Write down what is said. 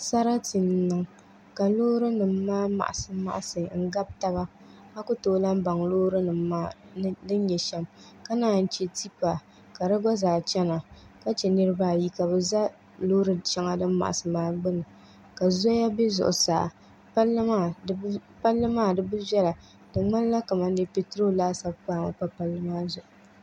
Sarati n niŋ ka loori nim maa maɣasi maɣasi n gabi taba a ku tooi lahi baŋ loori nim maa din nyɛ shɛm ka naan yi chɛ tipa ka di gba zaa chɛna ka chɛ niraba ayi ka bi ʒɛ loori shɛŋa din maɣasi maa gbuni ka zoya bɛ zuɣusaa di ŋmanila kamani dee peetiroo laasabu kpaami pa palli maa zuɣu